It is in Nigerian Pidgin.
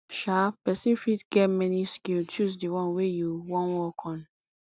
um persin fit get many skill choose di one wey you won work on